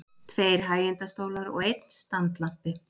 Tveir hægindastólar og einn standlampi.